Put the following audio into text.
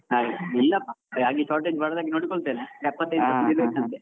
ಹಾಗೆ, ಇಲ್ಲಪ್ಪ ಹಾಗೆ shortage ಬರದಾಗೆ ನೋಡಿಕೊಳ್ತೇನೆ, percent ಇರ್ಬೇಕಂತೆ.